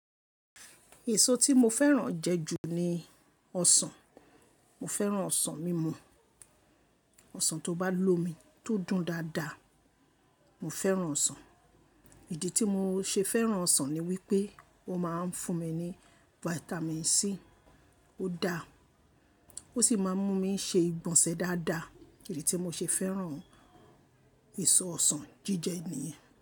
Èso tí mo fẹ́ràn jẹ ju ni ọsàn. Mo fẹ́ràn ọsàn mímú, ọsàn tó bá lò mi tó dùn dáadáa. Mo fẹ́ràn ọsàn. Ìdí tí mo ṣe fẹ́ràn ọsàn ni wípé ó máa ń fún mi ní Vitamin C. Ó da ó sì máa ń mú mi ṣe ìgbọ̀nsẹ̀ dáadáa. Èyí ni tí mo ṣe fẹ́ràn èso ọsàn jíjẹ nìyẹn.